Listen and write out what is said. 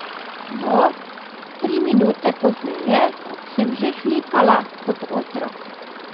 No, tri minute pozneje sem že hlipala kot otrok.